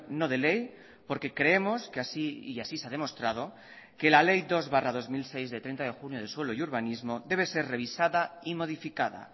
no de ley porque creemos que así y así se ha demostrado que la ley dos barra dos mil seis de treinta de junio de suelo y urbanismo debe ser revisada y modificada